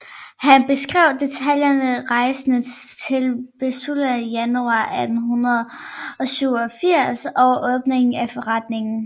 Han beskrev detaljeret rejsen til Pennsylvania i januar 1887 og åbningen af forretningen